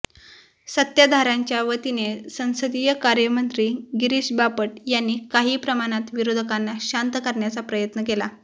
सत्ताधार्यांच्या वतीने संसदीय कार्यमंत्री गिरीष बापट यांनी काही प्रमाणात विरोधकांना शांत करण्याचा प्रयत्न केला